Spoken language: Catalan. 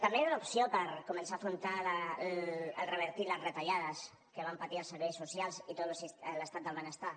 també era una opció per començar a afrontar el revertir les retallades que van patir els serveis socials i tot l’estat del benestar